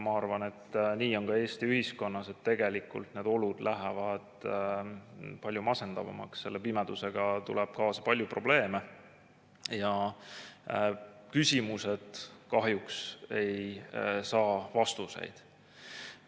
Ma arvan, et nii on ka Eesti ühiskonnas, et tegelikult need olud lähevad palju masendavamaks, selle pimedusega tuleb kaasa palju probleeme ja küsimused kahjuks ei saa vastuseid.